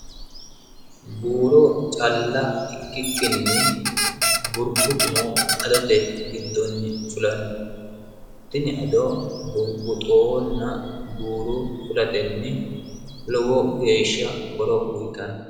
Buuro calla ikkikkinni burbuxxuno adote giddonni fulanno tini ado burbuxxonna buuro fulatenni lowo geeshsha horo uuyitanno.